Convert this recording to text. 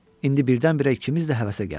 İndi birdən-birə ikimiz də həvəsə gəlmişdik.